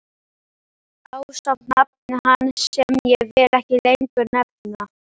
Ásamt nafni hans sem ég vil ekki lengur nefna.